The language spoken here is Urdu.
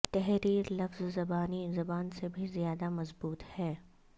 تحریر لفظ زبانی زبان سے بھی زیادہ مضبوط ہے